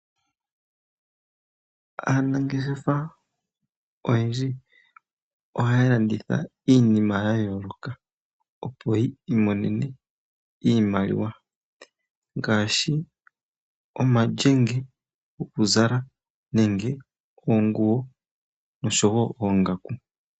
Aanangeshefa oyendji ohaya landitha iinima ya yooloka opo yi imone iimaliwa. Ngaashi omalyenge gokuzala nenge oonguwo osho woo oongaku.